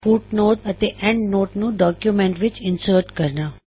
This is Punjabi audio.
ਫੁੱਟਨੋਟ ਅਤੇ ਐੱਨਡਨੋਟ ਨੂੰ ਡੌਕਯੁਮੈੱਨਟ ਵਿੱਚ ਇਨਸਰਟ ਕਰਨਾ